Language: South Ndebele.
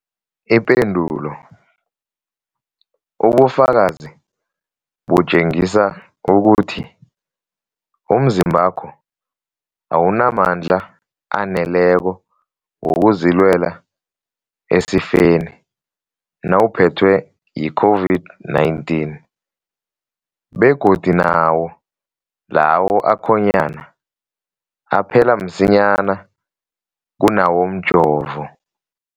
Ipendulo, ubufakazi butjengisa ukuthi umzimbakho awunamandla aneleko wokuzilwela esifeni nawuphethwe yi-COVID-19, begodu nawo lawo akhonyana aphela msinyana kunawomjovo.